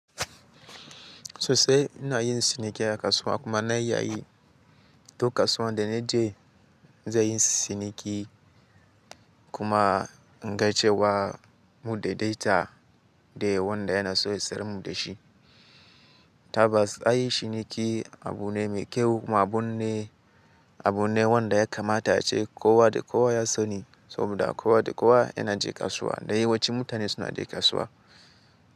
Sosai ina yin ciniki a kasuwa kuma na yi yayin duk kasuwan da na je zai yi ciniki kuma inga cewa mu daidaita da wanda yana so ya siyarmu da shi. Tabbas a yi ciniki abu ne mai kyau kuma abu ne wanda ya kamata ace kowa da kowa ya sani saboda kowa da kowa yana je kasuwa da yawanci mutane suna je kasuwa.